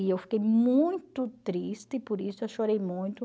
E eu fiquei muito triste, por isso eu chorei muito.